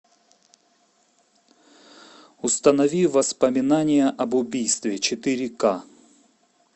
установи воспоминания об убийстве четыре ка